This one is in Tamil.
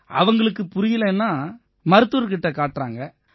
அங்க இருக்கறவங்களுக்குப் புரியலைன்னா மருத்துவர் கிட்ட காட்டுறாங்க